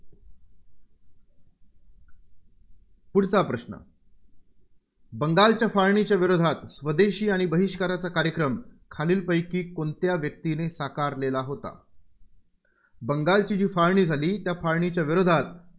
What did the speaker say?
पुढचा प्रश्न. बंगालच्या फाळणीच्या विरोधात स्वदेशी आणि बहिष्काराचा कार्यक्रम खालालीपैकी कोणत्या व्यक्तीने साकारलेला होता? बंगालची जी फाळणी झाली त्या फाळणीच्या विरोधात